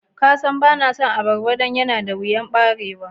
Ka San ba na son ababba dan yana da wiyan barewa?